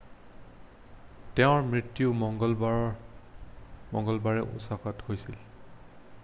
তেওঁৰ মৃত্যু মঙ্গলবাৰে ওচাকাত হৈছিল